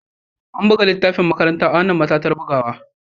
An buga littafin makaranta a wannan matattarar buga.